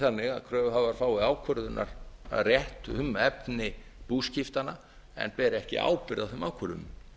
þannig að það sé ekki þannig að kröfuhafar fái ákvörðunarrétt um efni búskiptanna en beri ekki ábyrgð á þeim ákvörðunum það